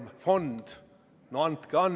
Palun võtta seisukoht ja hääletada!